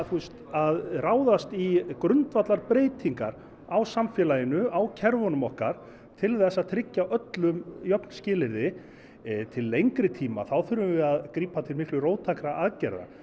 að ráðast í grundvallarbreytingar á samfélaginu á kerfunum okkar til þess að tryggja öllum jöfn skilyrði til lengri tíma þurfum við að grípa til miklu róttækari aðgerða